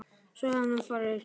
Svo sé hann farinn að yrkja.